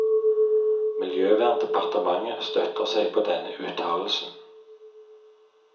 Miljøverndepartementet støtter seg på denne uttalelsen.